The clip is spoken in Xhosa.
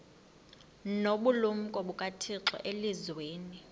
nobulumko bukathixo elizwini